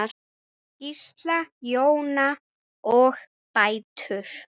Gísli, Jóna og dætur.